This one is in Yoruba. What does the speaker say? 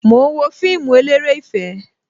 Mo ń wo fíìmù eléré ìfẹ́